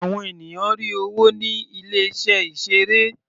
Àwọn ènìyàn rí owó ní ilé iṣẹ́ ìseré.